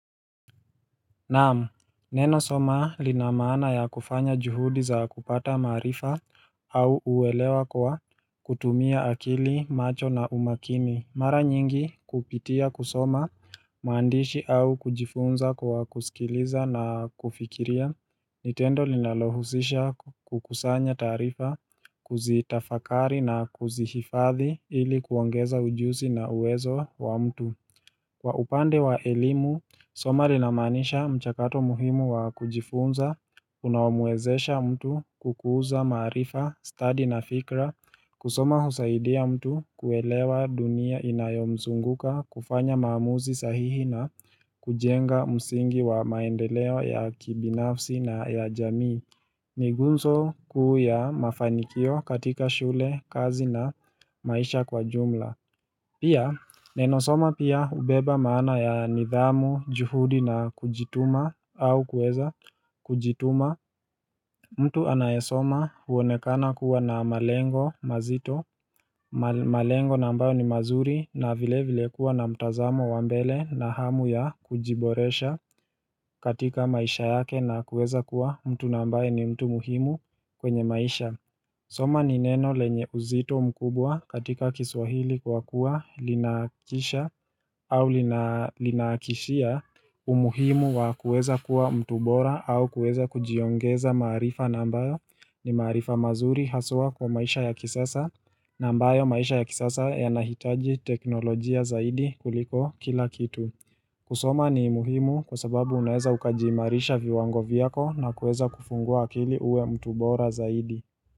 Naam, neno soma linamana ya kufanya juhudi za kupata maarifa au uwelewa kwa kutumia akili macho na umakini Mara nyingi kupitia kusoma maandishi au kujifunza kwa kusikiliza na kufikiria ni tendo linalohusisha kukusanya taarifa kuzitafakari na kuzihifadhi ili kuongeza ujusi na uwezo wa mtu Kwa upande wa elimu, soma linamanisha mchakato muhimu wa kujifunza, unaomwezesha mtu kukuza maarifa, stadi na fikra, kusoma husaidia mtu kuelewa dunia inayomzunguka, kufanya maamuzi sahihi na kujenga msingi wa maendeleo ya kibinafsi na ya jamii. Migunzo kuu ya mafanikio katika shule, kazi na maisha kwa jumla. Pia neno soma pia hubeba maana ya nidhamu, juhudi na kujituma au kuweza kujituma mtu anayesoma huonekana kuwa na malengo mazito malengo na ambayo ni mazuri na vile vile kuwa na mtazamo wa mbele na hamu ya kujiboresha katika maisha yake na kuweza kuwa mtu na ambaye ni mtu muhimu kwenye maisha soma ni neno lenye uzito mkubwa katika kiswahili kwa kuwa linakisha au linaakishia umuhimu wa kuweza kuwa mtu bora au kuweza kujiongeza maarifa na ambayo ni maarifa mazuri haswa kwa maisha ya kisasa na ambayo maisha ya kisasa yanahitaji teknolojia zaidi kuliko kila kitu. Kusoma ni muhimu kwa sababu unaeza ukajiimarisha viwango viyako na kuweza kufungua akili uwe mtu bora zaidi.